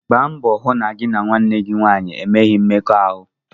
Gba mbọ hụ na gị na nwanne gị nwanyị enweghị mmekọahụ!